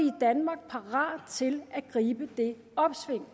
i danmark parate til at gribe det opsving